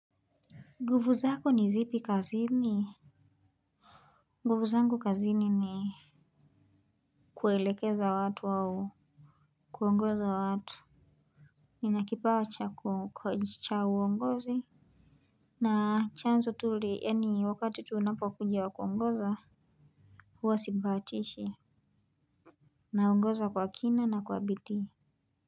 Nguvu zako ni zipi kazini gufu zangu kazini ni kuelekeza watu au kuongoza watu nina kipawa cha uongozi na chanzo tu li wakati tu unapo kuja wa kuongoza huwa sibahatishi naongoza kwa kina na kwa bidii.